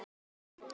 Þín dóttir, Hrönn.